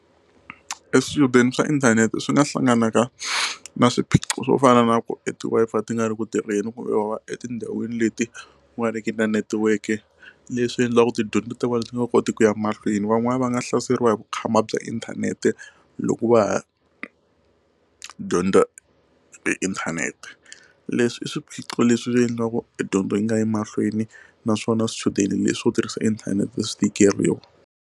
E swichudeni swa inthanete swi nga hlanganaka na swiphiqo swo fana na ku e ti Wi-Fi ti nga ri ku tirheni kumbe va va etindhawini leti nga ri ki na netiweke leswi endliwaka tidyondzo ta vona ti nga koti ku ya mahlweni van'wana va nga hlaseriwa hi vukhamba bya inthanete loko va ha dyondza inthanete leswi i swiphiqo leswi endlaku dyondzo yi nga yi mahlweni naswona swichudeni leswo tirhisa inthanete swi tikeriwa.